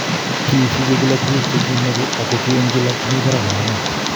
Kisiche gila tuguk chekimoche ago ki en kila komi parak en ane.